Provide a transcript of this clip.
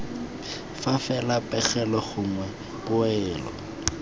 fa fela pegelo gongwe poelo